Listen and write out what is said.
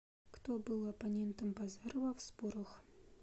кто был оппонентом базарова в спорах